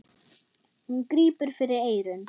Hún grípur fyrir eyrun.